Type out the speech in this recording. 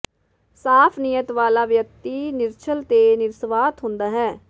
ਸਾਫ਼ ਨੀਅਤ ਵਾਲਾ ਵਿਅਕਤੀ ਨਿਰਛਲ ਤੇ ਨਿਰਸਵਾਰਥ ਹੁੰਦਾ ਹੈ